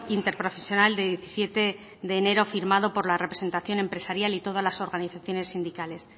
interprofesional de diecisiete de enero firmado por la representación empresarial y todas las organizaciones sindicales